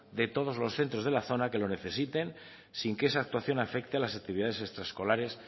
de todos los centros de la zona que lo necesiten sin que esa actuación afecte a las actividades extraescolares